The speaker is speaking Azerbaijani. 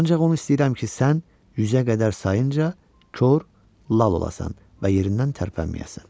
Ancaq onu istəyirəm ki, sən yüzə qədər sayınca kor, lal olasan və yerindən tərpənməyəsən.